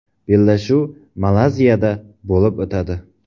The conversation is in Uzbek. Bellashuv Malayziyada bo‘lib o‘tadi.